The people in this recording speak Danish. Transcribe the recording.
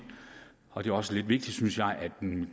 og det er også lidt vigtigt at